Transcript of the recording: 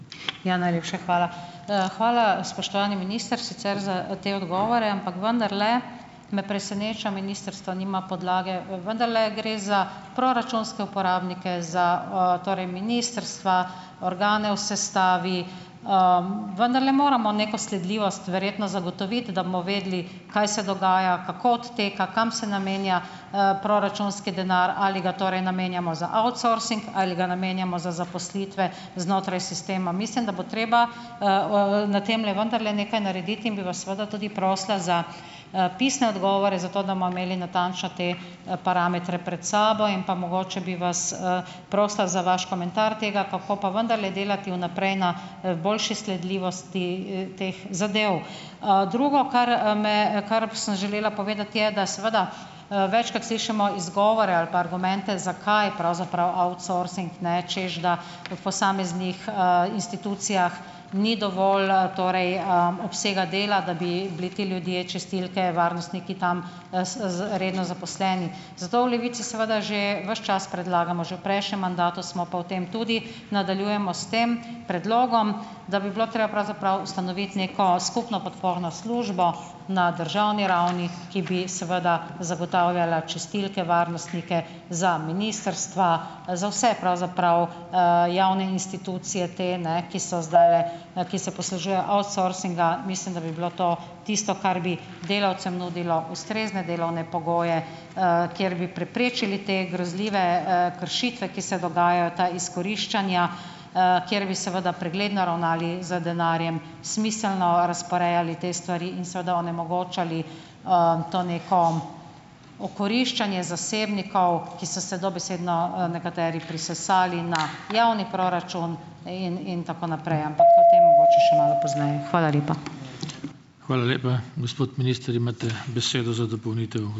Ja, najlepša hvala. Hvala, spoštovani minister, sicer za te odgovore, ampak vendarle me preseneča, ministrstvo nima podlage. Vendarle gre za proračunske uporabnike, za, torej ministrstva, organe v sestavi, vendarle moramo neko sledljivost verjetno zagotoviti, da bomo vedeli, kaj se dogaja, kako odteka, kam se namenja, proračunski denar, ali ga torej namenjamo za outsourcing, ali ga namenjamo za zaposlitve znotraj sistema. Mislim, da bo treba, na temle vendarle nekaj narediti. In bi vas seveda tudi prosila za, pisne odgovore, zato da bomo imeli natančno te, parametre pred sabo. In pa mogoče bi vas, prosila za vaš komentar tega, kako pa vendarle delati v naprej na, boljše sledljivosti, teh zadev. Drugo, kar, me kar sem želela povedati, je, da seveda, večkrat slišimo izgovore ali pa argumente, zakaj pravzaprav outsourcing, ne, češ da od posameznih, institucij ni dovolj, torej, obsega dela, da bi bili ti ljudje, čistilke, varnostniki tam, s z redno zaposleni. Zato v Levici seveda že ves čas predlagamo, že v prejšnjem mandatu smo, pa v tem tudi nadaljujemo s tem predlogom, da bi bilo treba pravzaprav ustanoviti neko skupno podporno službo na državni ravni, ki bi seveda zagotavljala čistilke, varnostnike za ministrstva, za vse pravzaprav, javne institucije te ne, ki so zdajle, ki se poslužujejo outsourcinga. Mislim, da bi bilo to tisto, kar bi delavcem nudilo ustrezne delovne pogoje, kjer bi preprečili te grozljive, kršitve, ki se dogajajo, ta izkoriščanja, kjer bi seveda pregledno ravnali z denarjem, smiselno razporejali te stvari in seveda onemogočali, to neko okoriščanje zasebnikov, ki so se dobesedno, nekateri prisesali na javni proračun in in tako naprej. Ampak o tem mogoče še malo pozneje. Hvala lepa.